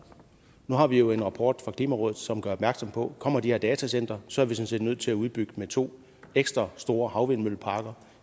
nu har vi jo en rapport fra klimarådet som gør opmærksom på at kommer de her datacentre er sådan set nødt til at udbygge med to ekstra store havvindmølleparker